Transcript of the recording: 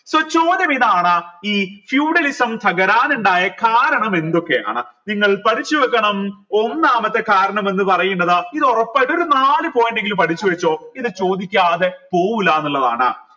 so ചോദ്യം ഇതാണ് ഈ feudalism തകരാനുണ്ടായ കാരണം എന്തൊക്കെയാണ് നിങ്ങൾ പഠിച്ച് വെക്കണം ഒന്നാമത്തെ കാരണം എന്ന് പറയുന്നത് ഇത് ഒറപ്പായിട്ടും ഒരു നാല് point എങ്കിലും പഠിച്ച് വെച്ചോ ഇത് ചോദിക്കാതെ പോവൂലാന്നിള്ളതാണ്